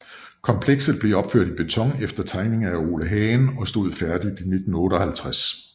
Komplekset er opført i beton efter tegninger af Ole Hagen og stod færdig i 1958